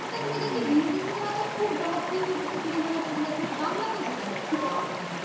Hindi cinema তো খুব জনপ্রিয় হয়ে উঠেছে cinema য় কিছু এখন বাংলাতেও সেটা হচ্ছে আমার মনে হয়